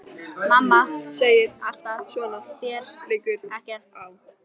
Mamma segir alltaf: Svona, þér liggur ekkert á.